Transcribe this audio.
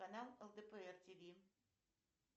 канал лдпр тв